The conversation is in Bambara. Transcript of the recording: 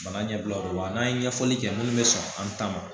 Bana ɲɛbila o la n'a ye ɲɛfɔli kɛ minnu be sɔn an ta ma